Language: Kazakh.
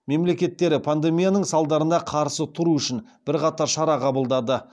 мемлекеттері пандемияның салдарына қарсы тұру үшін бірқатар шара қабылдады